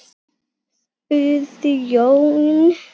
spurði Jón.